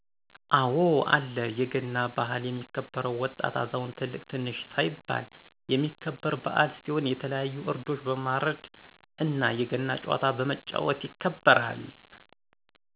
አወ አለ የገና በሀል የሚከበውም ወጣት አዛውንት ትልቅ ትንሽ ሳይባል የሚከበረ በዓል ሲሆን የተለያዩ ዕረዶችን በማርድ እነ የገና ጨዋታ በመጫወት ይከበራል።